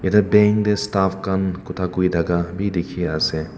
te bank tae staff khan khota kurithaka bi dikhiase.